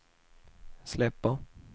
släpper